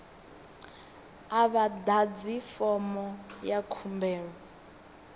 a vha ḓadzi fomo ya khumbelo